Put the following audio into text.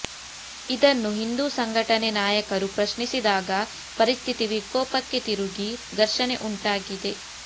ಇದನ್ನು ಹಿಂದು ಸಂಘಟನೆ ನಾಯಕರು ಪ್ರಶ್ನಿಸಿದಾಗ ಪರಿಸ್ಥಿತಿ ವಿಕೋಪಕ್ಕೆ ತಿರುಗಿ ಘರ್ಷಣೆ ಉಂಟಾಗಿದೆ